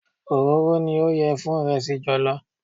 Òróró ni ó yẹ fún ìrẹsì jọ̀lọ́.